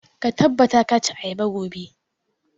Ka tabbata ka ci ayaba gobe!